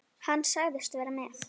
Hann sagðist vera með